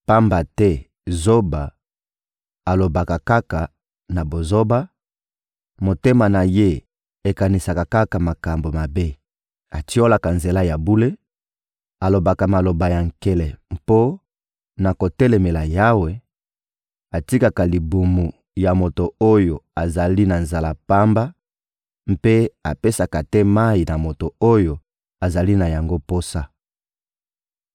pamba te zoba alobaka kaka na bozoba, motema na ye ekanisaka kaka makambo mabe: atiolaka nzela ya bule, alobaka maloba ya nkele mpo na kotelemela Yawe, atikaka libumu ya moto oyo azali na nzala pamba mpe apesaka te mayi na moto oyo azali na yango posa.